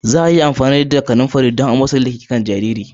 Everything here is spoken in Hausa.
Za a yi amfani da kanumfarin don amosalin da ke kan jariri.